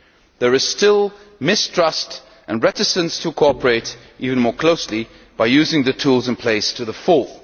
There is still mistrust and reticence to cooperate even more closely by using the tools in place to the full.